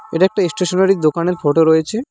এটা একটা এস্টেশনারী দোকানের ফটো রয়েছে।